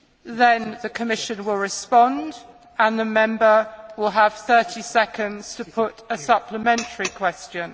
question, then the Commission will respond and the Member will have 30 seconds to put a supplementary question.